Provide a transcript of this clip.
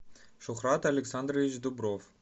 шухрат александрович дубров